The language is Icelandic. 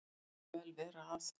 Það má vel vera að